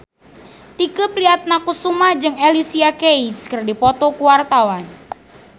Tike Priatnakusuma jeung Alicia Keys keur dipoto ku wartawan